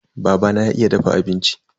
Babana ya iya dafa abinci.